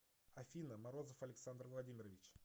афина морозов александр владимирович